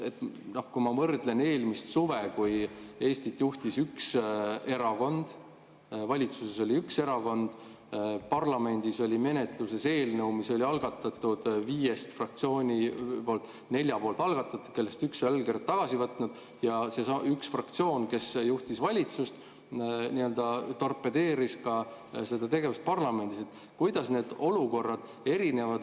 Kui võrrelda seda eelmise suvega, mil Eestit juhtis üks erakond, valitsuses oli üks erakond, parlamendis oli menetluses eelnõu, mille oli algatanud viis fraktsiooni – neli oli algatanud, üks oli allkirjad tagasi võtnud –, ja see üks fraktsioon, kes juhtis valitsust, seda tegevust parlamendis torpedeeris, siis kuidas need olukorrad erinevad?